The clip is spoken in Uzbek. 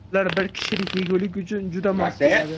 Ular bir kishilik yegulik uchun juda mos keladi.